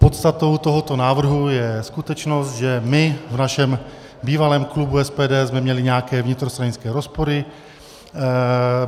Podstatou tohoto návrhu je skutečnost, že my v našem bývalém klubu SPD jsme měli nějaké vnitrostranické rozpory.